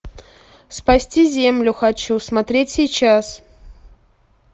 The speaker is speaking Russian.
спасти землю хочу смотреть сейчас